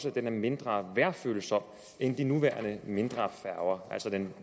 at den er mindre vejrfølsom end de nuværende mindre færger altså den